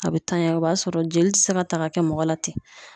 A be tanya o b'a sɔrɔ jeli ti se ka ta k'a kɛ mɔgɔ la ten